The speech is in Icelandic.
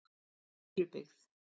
Furubyggð